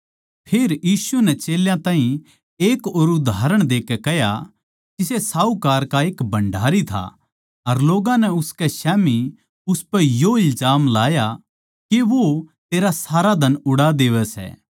फेर यीशु नै चेल्यां ताहीं एक और उदाहरण देकै कह्या किसे साहूकार का एक भण्डारी था अर लोग्गां नै उसकै स्याम्ही उसपै यो इल्जाम लाया के वो तेरा सारा धन उड़ा देवै सै